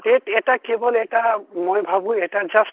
initial>TET এটা কেৱল এটা মই ভাৱো এটা just